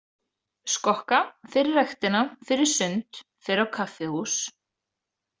Skokka, fer í ræktina, fer í sund, fer á kaffihús.